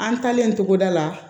An taalen togoda la